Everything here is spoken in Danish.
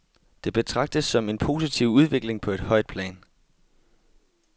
Det betragtes som en positiv udvikling på et højt plan.